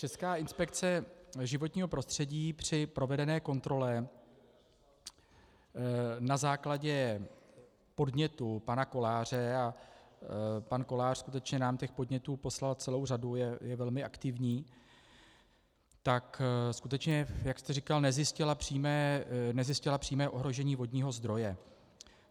Česká inspekce životního prostředí při provedené kontrole na základě podnětu pana Koláře, a pan Kolář skutečně nám těch podnětů poslal celou řadu, je velmi aktivní, tak skutečně, jak jste říkal, nezjistila přímé ohrožení vodního zdroje.